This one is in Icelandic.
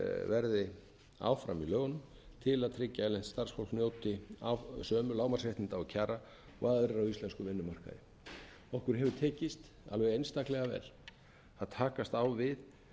verði áfram í lögunum til að tryggja að starfsfólk njóti sömu lágmarksréttinda og kjara og aðilar á íslenskum vinnumarkaði okkur hefur tekist alveg einstaklega vel að takast á við